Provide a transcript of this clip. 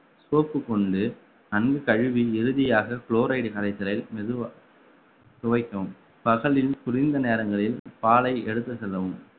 soap கொண்டு நன்கு கழுவி இறுதியாக chloride கரைசலில் மெதுவா துவைக்கவும் பகலில் குளிர்ந்த நேரங்களில் பாலை எடுத்து செல்லவும்